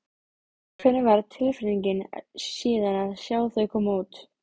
Hvernig var tilfinningin síðan að sjá þau koma út?